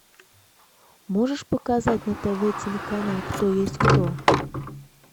можешь показать на тв телеканал кто есть кто